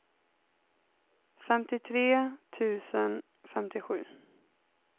femtiotre tusen femtiosju